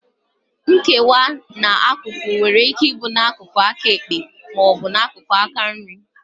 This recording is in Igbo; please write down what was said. Nkewa n'akụkụ nwere ike ịbụ n'akụkụ aka ekpe ma ọ bụ n'akụkụ aka nri